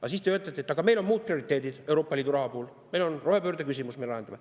Aga siis te ütlete, et meil on muud prioriteedid Euroopa Liidu raha puhul, meil on rohepöördeküsimus vaja lahendada.